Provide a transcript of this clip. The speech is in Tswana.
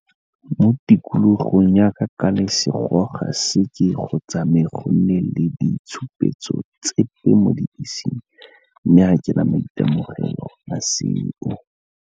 Mo tikologong yaka ka lesego ga seke go tsamaye go nne le ditshupetso tse mo dibeseng, mme ga ke na maitemogelo a seo.